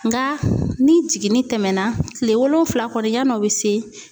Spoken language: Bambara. Nga ni jiginni tɛmɛna, kile wolonwula kɔni ya n'o be se